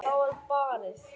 Það var barið.